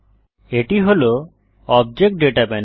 এটি হল object data panel